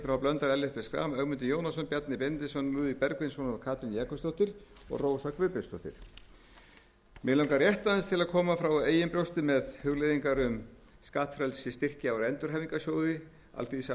h blöndal ellert b schram ögmundur jónasson bjarni benediktsson lúðvík bergvinsson katrín jakobsdóttir og rósa guðbjartsdóttir mig langar rétt aðeins til að koma frá eigin brjósti með hugleiðingar um skattfrelsi styrkja úr endurhæfingarsjóði alþýðusambands íslands og samtaka atvinnulífsins herra forseti ég